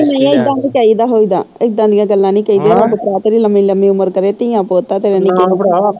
ਨਹੀਂ ਏਦਾਂ ਨਹੀਂ ਚਾਹੀਦਾ ਹੋਈਦਾ ਏਦਾਂ ਦੀਆ ਗੱਲਾਂ ਨਹੀਂ ਕਹੀਦੀਆ ਰੱਬ ਭਰਾ ਤੇਰੀ ਲੰਮੀ ਲੰਮੀ ਉਮਰ ਕਰੇ ਧੀਆਂ ਪੁੱਤ ਆ ਤੇਰੇ ਨਿੱਕੇ ਨਿੱਕੇ